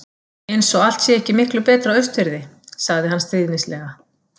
Eins og allt sé ekki miklu betra á Austurfirði. sagði hann stríðnislega.